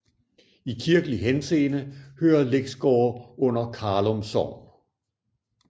I kirkelig henseende hører Læksgårde under Karlum Sogn